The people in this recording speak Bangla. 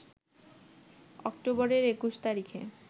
অক্টোবরের ২১ তারিখে